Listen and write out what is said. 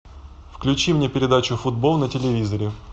включи мне передачу футбол на телевизоре